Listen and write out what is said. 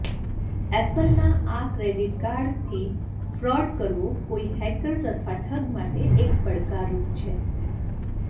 એપલના આ ક્રેડિટ કાર્ડથી ફ્રોડ કરવો કોઇ હેકર્સ અથવા ઠગ માટે એક પડકાર રૂપ છે